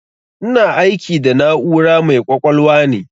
Ina aiki da na'ura mai ƙwaƙwalwa ne.